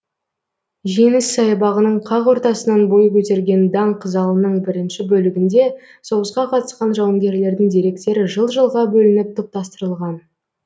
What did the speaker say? жеңіс саябағының қақ ортасынан бой көтерген данқ залының бірінші бөлігінде соғысқа қатысқан жауынгерлердің деректері жыл жылға бөлініп топтастырылған